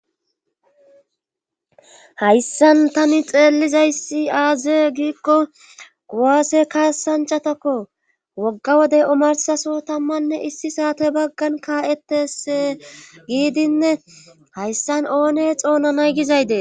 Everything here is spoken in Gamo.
hayssan tani xeellizayssi aaze giikko guwaase kaassanchatakko wogga wodey omarsaso tammanne issi saate baggan kaa7etes giidinne hayssan oone xoonanay gizaydee